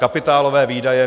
Kapitálové výdaje.